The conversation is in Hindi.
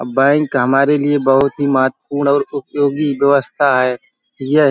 अब बैंक हमारे लिए बोहोत ही महत्वपूर्ण और उपयोगी व्यवस्था है यह --